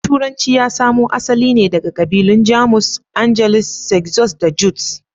Turanci ya samo asali ne daga kabilun Jamus; Angles, Saxon da Jutes.